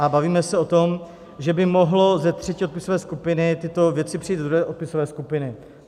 A bavíme se o tom, že by mohly ze třetí odpisové skupiny tyto věci přejít do druhé odpisové skupiny.